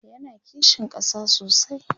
yana kishin ƙasa sosai